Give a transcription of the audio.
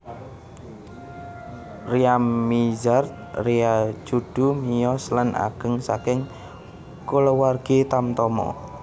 Ryamizard Ryacudu miyos lan ageng saking kulawargi tamtama